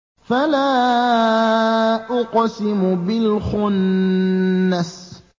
فَلَا أُقْسِمُ بِالْخُنَّسِ